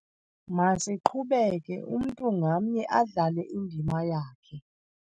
Masiqhubeke, umntu ngamnye adlale indima yakhe.